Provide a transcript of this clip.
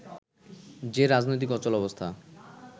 যে রাজনৈতিক অচলাবস্থা